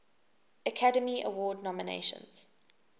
academy award nominations